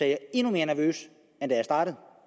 jeg endnu mere nervøs end